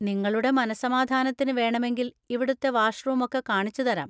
നിങ്ങളുടെ മനസ്സമാധാനത്തിന് വേണമെങ്കിൽ ഇവിടുത്തെ വാഷ്‌റൂമൊക്കെ കാണിച്ചുതരാം.